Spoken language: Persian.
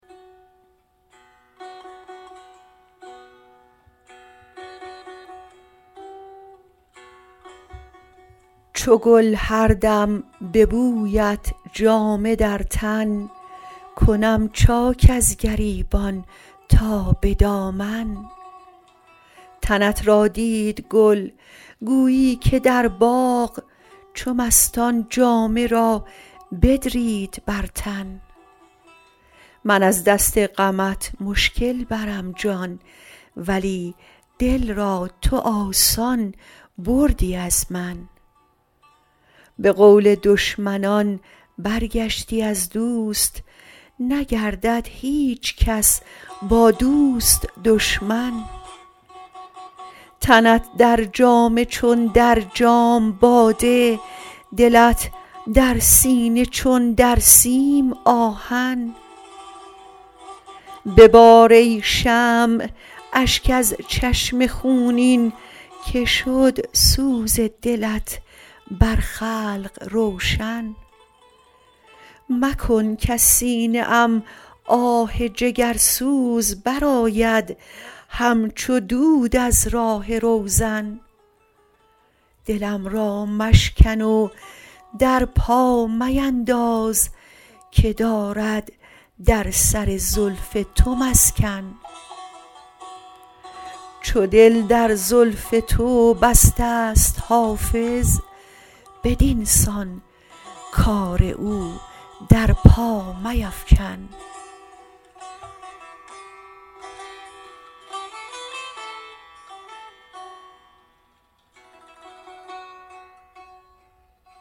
چو گل هر دم به بویت جامه در تن کنم چاک از گریبان تا به دامن تنت را دید گل گویی که در باغ چو مستان جامه را بدرید بر تن من از دست غمت مشکل برم جان ولی دل را تو آسان بردی از من به قول دشمنان برگشتی از دوست نگردد هیچ کس با دوست دشمن تنت در جامه چون در جام باده دلت در سینه چون در سیم آهن ببار ای شمع اشک از چشم خونین که شد سوز دلت بر خلق روشن مکن کز سینه ام آه جگرسوز برآید همچو دود از راه روزن دلم را مشکن و در پا مینداز که دارد در سر زلف تو مسکن چو دل در زلف تو بسته ست حافظ بدین سان کار او در پا میفکن